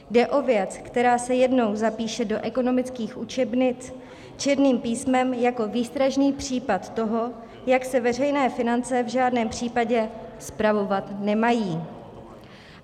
Jde o věc, která se jednou zapíše do ekonomických učebnic černým písmem jako výstražný případ toho, jak se veřejné finance v žádném případě spravovat nemají.